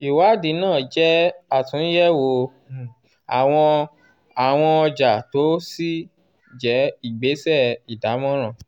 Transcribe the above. ìwádìí náà jẹ́ àtúnyẹ̀wò um àwọn àwọn ọjà kò sì jẹ́ ìgbésẹ̀ ìdámọ̀ràn.